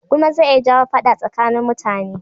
gulma zai iya jawo faɗa tsakanin mutane